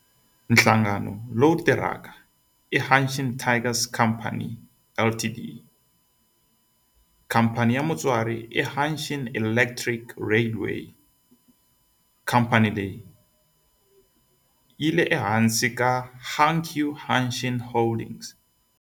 Nhlangano lowu tirhaka i Hanshin Tigers Co., Ltd. Khamphani ya mutswari i Hanshin Electric Railway khamphani leyi nga ehansi ka Hankyu Hanshin Holdings.